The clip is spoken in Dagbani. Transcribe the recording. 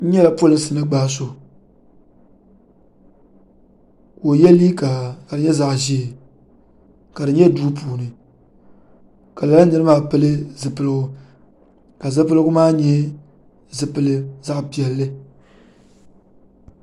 niriba nyɛla polinsi ni gba so ka oyɛ liga ka di nyɛ zaɣ' ʒiɛ ka nyɛ do puuni ka lala niri maa pɛli zibiligu ka zibiligu maa nyɛ zaɣ' piɛli